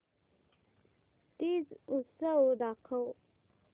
तीज उत्सव दाखव